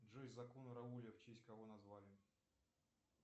джой закон рауля в честь кого назвали